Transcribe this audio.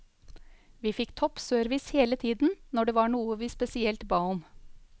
Vi fikk topp service hele tiden når det var noe vi spesielt ba om.